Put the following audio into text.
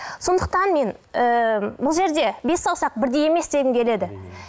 сондықтан мен ы бұл жерде бес саусақ бірдей емес дегім келеді